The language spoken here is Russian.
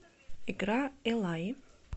игра эллаи